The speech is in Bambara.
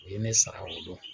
U ye ne sara o don.